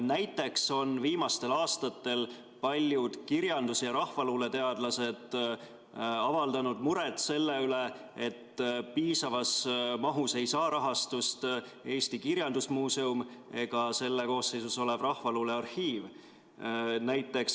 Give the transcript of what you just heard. Näiteks on viimastel aastatel paljud kirjandus‑ ja rahvaluuleteadlased avaldanud muret, et piisavas mahus ei saa rahastust Eesti Kirjandusmuuseum ega selle koosseisus olev rahvaluule arhiiv.